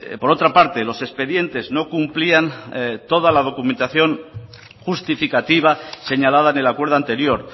por otra parte los expedientes no cumplían toda la documentación justificativa señalada en el acuerdo anterior